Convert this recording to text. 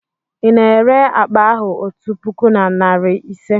Ị na-ere akpa ahụ otu puku na narị ise?